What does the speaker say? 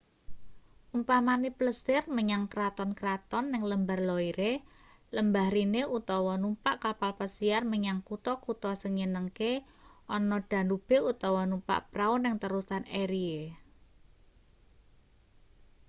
umpamane plesir menyang kraton-kraton ning lembar loire lembah rhine utawa numpak kapal pesiar menyang kutha-kutha sing nyenengke ana danube utawa numpak prau ning terusan erie